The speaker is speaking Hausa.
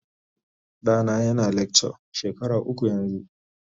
Ɗana yana lecture shekara uku yanzu.